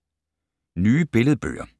Nye billedbøger